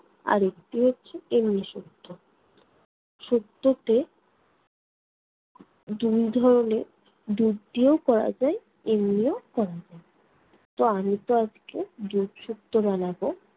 আর একটি হচ্ছে তেল মিশিদ্ধ। শুক্তোতে দুই ধরণের, দুধ দিয়েও করা যায় এমনিও করা যায়। তো আমি তো আজকে দুধ শুক্তো বানাবো,